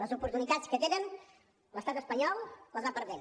les oportunitats que té l’estat espanyol les va perdent